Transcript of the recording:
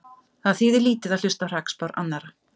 Það þýðir lítið að hlusta á hrakspár annarra.